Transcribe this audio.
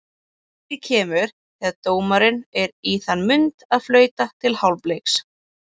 Markið kemur þegar dómarinn er í þann mund að flauta til hálfleiks.